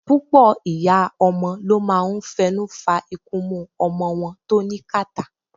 Púpọ̀ ìyá ọmọ ló máa ń fẹnu fa ikunmú ọmọ wọn tó ní kàtá.